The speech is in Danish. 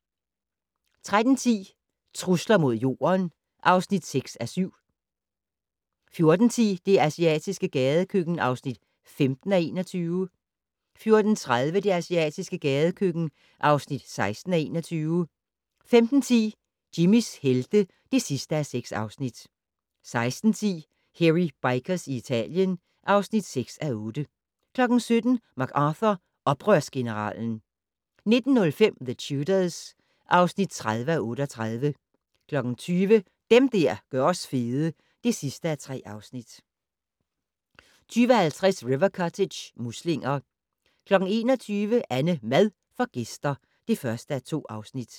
13:10: Trusler mod Jorden (6:7) 14:10: Det asiatiske gadekøkken (15:21) 14:30: Det asiatiske gadekøkken (16:21) 15:10: Jimmys helte (6:6) 16:10: Hairy Bikers i Italien (6:8) 17:00: MacArthur - Oprørsgeneralen 19:05: The Tudors (30:38) 20:00: Dem der gør os fede (3:3) 20:50: River Cottage - muslinger 21:00: AnneMad får gæster (1:2)